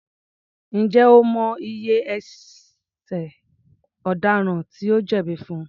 Ǹjẹ́ o mọ iye ẹṣẹ̀ ọ̀daràn tí ó jẹ̀bí fún?